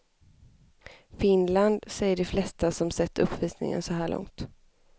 Finland, säger de flesta som sett uppvisningen så här långt.